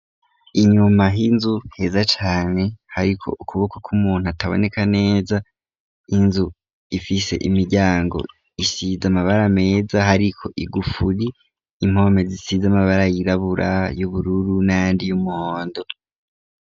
Inyuma h'inzu, heza cane, hariko ukuboko kw'umuntu, ataboneka neza, inzu ifise imiryango, isize amabara meza, hariko igufuri; impome zisize amabara yirabura, y'ubururu n'ayandi y'umuhondo.